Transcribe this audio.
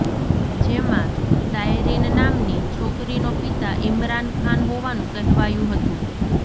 જેમાં ટાયરીન નામની છોકરીનો પિતા ઇમરાન ખાન હોવાનું કહેવાયું હતું